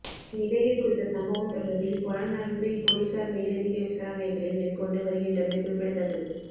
இந்நிலையில் குறித்த சம்பவம் தொடர்பில் பொலன்னறுவை பொலிஸார் மேலதிக விசாரணைகளை மேற்கொண்டு வருகின்றமை குறிப்பிடத்தக்கது